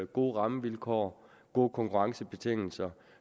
gode rammevilkår gode konkurrencebetingelser